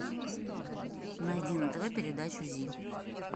найди на тв передачу зи